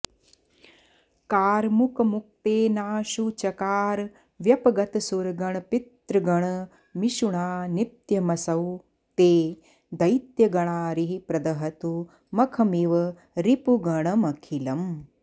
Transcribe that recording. कार्मुकमुक्तेनाशु चकार व्यपगतसुरगणपितृगणमिषुणा नित्यमसौ ते दैत्यगणारिः प्रदहतु मखमिव रिपुगणमखिलम्